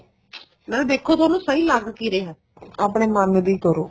ਨਾਲੇ ਦੇਖੋ ਤੁਹਾਨੂੰ ਸਹੀ ਲੱਗ ਕੀ ਰਿਹਾ ਆਪਣੇ ਮਨ ਦੀ ਕਰੋ